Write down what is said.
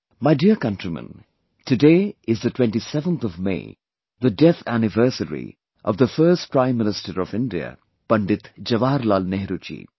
My dear countrymen, today is the 27thof May, the death anniversary of the first Prime Minister of India, Pandit Jawaharlal Nehru ji